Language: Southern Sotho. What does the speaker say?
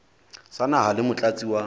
sa naha le motlatsi wa